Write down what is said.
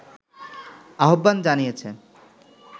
আহ্বান জানিয়েছে